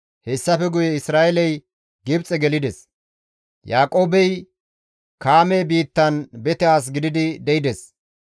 Hessafe guye Isra7eeley Gibxe gelides; Yaaqoobey Kaame biittan bete as gididi de7ides.